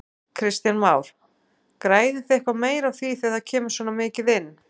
Kristján Már: Græðið þið eitthvað meira á því þegar það kemur svona mikið inn?